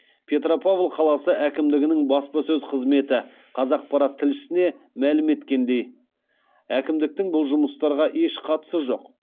петропавл қаласы әкімдігінің баспасөз қызметі қазақпарат тілшісіне мәлім еткендей әкімдіктің бұл жұмыстарға еш қатысы жоқ